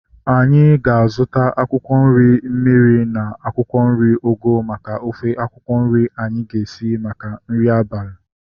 Anyị ga-azuta akwụkwọ nri mmiri na akwụkwọ nri ugu maka ofe akwụkwọ nri anyi ga-esi maka nri abalị